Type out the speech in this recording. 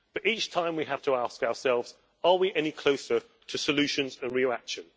but each time we have to ask ourselves are we any closer to solutions and real action?